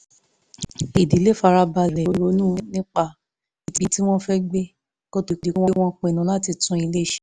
ìdílé fara balẹ̀ ronú nípa ibi tí wọ́n fẹ́ gbé kó tó di pé wọ́n pinnu láti tún ilé ṣe